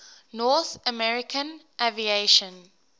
north american aviation